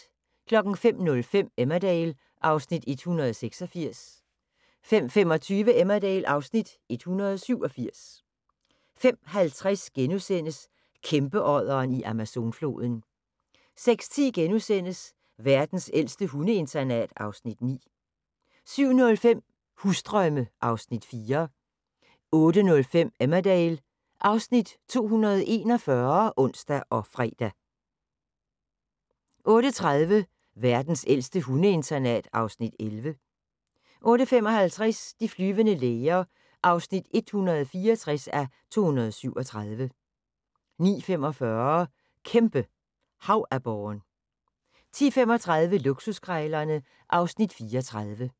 05:05: Emmerdale (Afs. 186) 05:25: Emmerdale (Afs. 187) 05:50: Kæmpeodderen i Amazonfloden * 06:40: Verdens ældste hundeinternat (Afs. 9)* 07:05: Husdrømme (Afs. 4) 08:05: Emmerdale (Afs. 241)(ons og fre) 08:30: Verdens ældste hundeinternat (Afs. 11) 08:55: De flyvende læger (164:237) 09:45: Kæmpe havaborren 10:35: Luksuskrejlerne (Afs. 34)